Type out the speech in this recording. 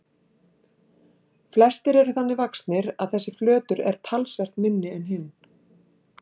Flestir eru þannig vaxnir að þessi flötur er talsvert minni en hinn.